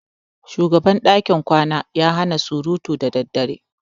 Shugaban dakin kwana ya hana surutu da daddare.